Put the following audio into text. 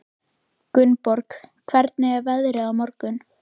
Gunnborg, hvernig er veðrið á morgun?